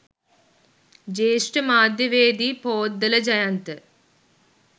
ජ්‍යෙෂ්ඨ මාධ්‍යවේදී පෝද්දල ජයන්ත